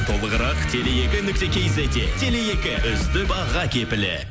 толығырақ теле екі нүкте кизетте теле екі үздік баға кепілі